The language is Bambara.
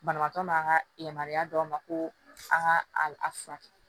Banabaatɔ n'an ka yamaruya d'a ma ko a ka a furakɛ